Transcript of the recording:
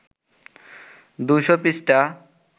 ২০০ পৃষ্ঠা